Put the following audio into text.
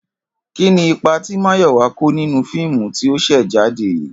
Kí ni ipa tí Máyò̩wá kó nínú fíìmù tí ó s̩è̩ jáde yìí?